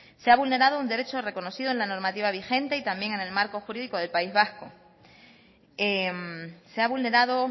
se ha vulnerado un derecho reconocido en la normativa vigente y también en el marco jurídico del país vasco se ha vulnerado